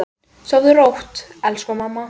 Sofðu rótt, elsku mamma.